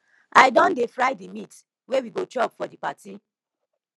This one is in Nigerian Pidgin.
i don dey fry di meat wey we go chop for di party